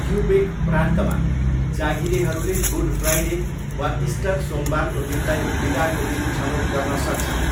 Quebec प्रान्तमा, जागिरेहरूले Good Friday वा इस्टर सोमबारको दिनलाई बिदाको दिन छनौट गर्न सक्छन्।